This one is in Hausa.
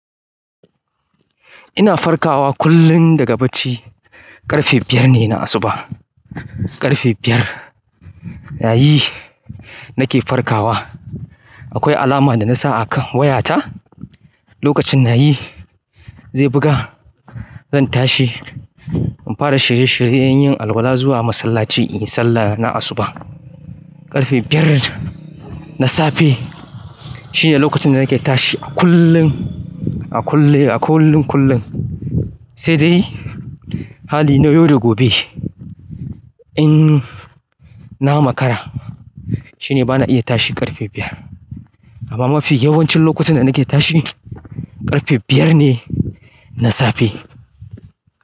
Ina farkawa kullum daga bacci ƙarfe biyar ne na asuba. Ƙarfe biyar, nayi nake farkawa. Akwai alama da nasa a kan wayata, lokacin nayi zai buga. Zan tashi, in fara shirye-shiryen yin alwala zuwa masallaci in yi sallah na asuba. Ƙarfe biyar na safe shine lokacin da nake tashi a kullum, a kullum, a kullum kullum. Sai dai, hali na yau da gobe in na makara shine bana iya tashi ƙarfe biyar. Amma mafi yawancin lokutan da nake tashi ƙarfe biyar ne na safe.